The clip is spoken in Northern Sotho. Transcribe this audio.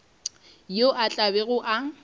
yo a tla bego a